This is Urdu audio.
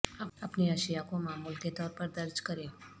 اپنی اشیاء کو معمول کے طور پر درج کریں